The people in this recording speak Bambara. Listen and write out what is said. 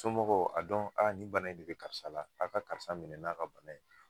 Somɔgɔw a dɔn aa ni bana in de be karisa la a ka karisa minɛ n'a ka bana ye